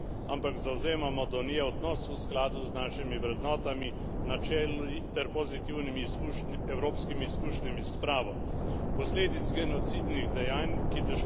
S to resolucijo ne spreminjamo zgodovine, ampak zavzemamo do nje odnos v skladu z našimi vrednotami, načeli ter pozitivnimi evropskimi izkušnjami s spravo.